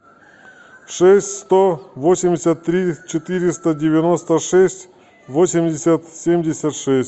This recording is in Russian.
шесть сто восемьдесят три четыреста девяносто шесть восемьдесят семьдесят шесть